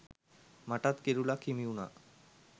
මටත් කිරුළක් හිමි වුණා.